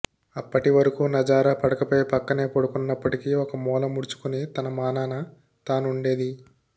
అప్పటి వరకు నజారా పడకపై పక్కనే పడుకున్నప్పటికీ ఒక మూల ముడుచుకుని తన మానాన తానుండేది